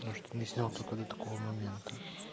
ну что не снял только до такого момента